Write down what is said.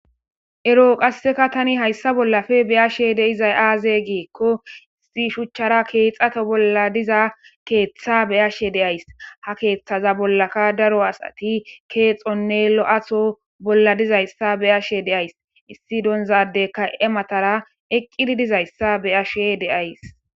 Ero qasseka tani hayssa bollafe beyashe deizay aaze giikko issi shuchchara keexato bolla diza keeththa beyashe deays ha Keeththaza bollaka daro asati keexonne lo7ato bolla dizayssa beyashe deays issi donzade ka7e matara eqqidi dizayssa beyashe deays